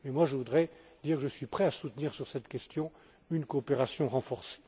Je voudrais dire que je suis prêt à soutenir sur cette question une coopération renforcée.